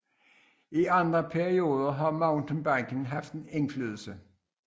I andre perioder har mountainbiken haft indflydelse